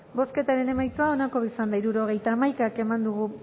bozketaren emaitza onako izan da hirurogeita hamaika eman dugu